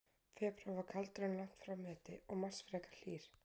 Febrúar var kaldur, en langt frá meti, og mars var frekar hlýr.